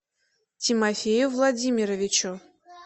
тимофею владимировичу